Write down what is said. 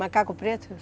Macaco preto?